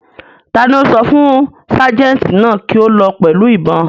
Ta ni ó sọ fún ságẹ̀ǹtì náà kí ó lọ pẹ̀lú ìbọn?